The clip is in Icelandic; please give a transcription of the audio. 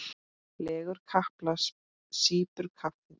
Leggur kapal, sýpur kaffið.